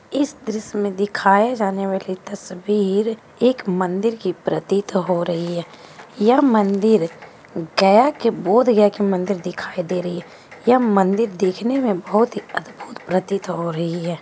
इस दृश्य दिखाए जाने वाली तस्वीर एक मंदिर की प्रतित हो रही हैं यह मंदिर गया के बौध गया की मंदिर दिखाई दे रही है यह मंदिर देखने मे बहुत ही अद्भुत प्रतित हो रही है।